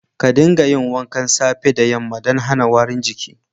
Ka dinga yin wanka safe da yamma dan hana warin jiki.